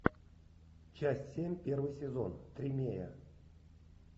часть семь первый сезон тримей